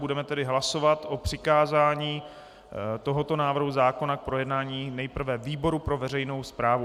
Budeme tedy hlasovat o přikázání tohoto návrhu zákona k projednání nejprve výboru pro veřejnou správu.